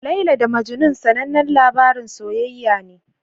Laila da Majnun sanannen labarin soyayya ne.